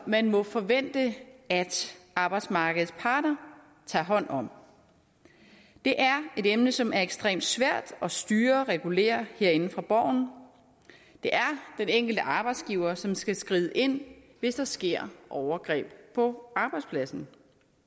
man må forvente at arbejdsmarkedets parter tager hånd om det er et emne som er ekstremt svært at styre og regulere herinde fra borgen det er den enkelte arbejdsgiver som skal skride ind hvis der sker overgreb på arbejdspladsen